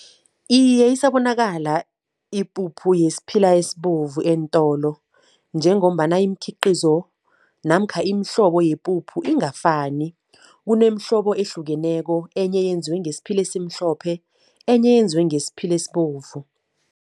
Iye, isabonakala ipuphu yesiphila esibovu eentolo njengombana imikhiqizo namkha imihlobo yepuphu ingafani. Kunemihlobo ehlukeneko, enye yenziwe ngesiphila esimhlophe, enye yenziwe ngesiphila esibovu.